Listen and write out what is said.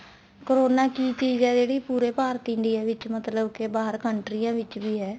corona ਕੀ ਚੀਜ਼ ਆ ਜਿਹੜੀ ਪੂਰੇ ਭਾਰਤ india ਵਿੱਚ ਮਤਲਬ ਕੇ ਬਾਹਰ country ਵਿੱਚ ਵੀ ਹੈ